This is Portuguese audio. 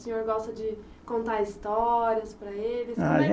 O senhor gosta de contar histórias para eles?